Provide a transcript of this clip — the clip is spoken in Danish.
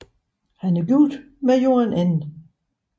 Han er gift med Joan N